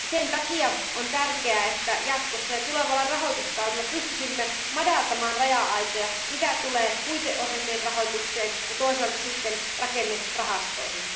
Sen takia on tärkeää, että jatkossa ja tulevalla rahoituskaudella pystyisimme madaltamaan raja aitoja, mitä tulee puiteohjelmien rahoitukseen ja toisaalta rakennerahastoihin.